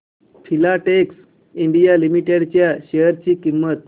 Filatex India Limited च्या share ची किंमत